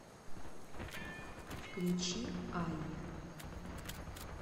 включи айя